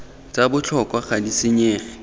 tsa botlhokwa ga di senyege